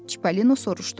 Çippolino soruşdu.